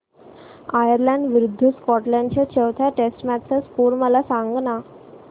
Ireland विरूद्ध Scotland च्या चौथ्या टेस्ट मॅच चा स्कोर मला सांगना